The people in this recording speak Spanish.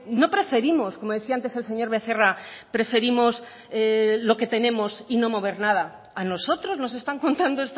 no preferimos como decía antes el señor becerra preferimos lo que tenemos y no mover nada a nosotros nos están contando